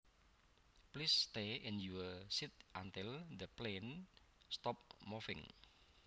Please stay in your seat until the plane stops moving